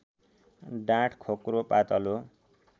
डाँठ खोक्रो पातलो